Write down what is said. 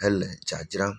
hele dzadzram.